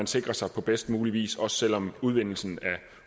sikrer sig på bedst mulig vis også selv om udvinding af